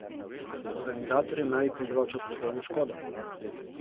Organizatorjem naj bi povzročal poslovno škodo.